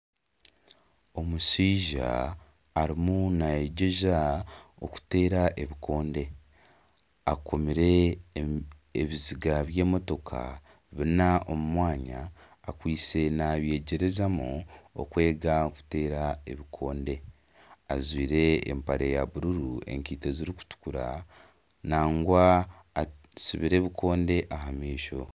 Omushaija arimu naayegyeza okuteera ebikonde akomire ebiziga by'emotoka bina omu mwanya akwitse nabyegyerezamu okwega kuteera ebikonde ajwire empare ya bururu, enkaito ezirukutukura nangwa atsibire ebikonde aha maisho .